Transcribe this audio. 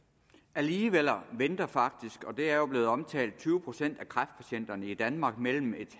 alligevel venter faktisk og det er jo blevet omtalt tyve procent af kræftpatienterne i danmark mellem et